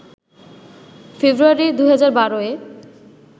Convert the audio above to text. ফেব্রুয়ারি ২০১২-এ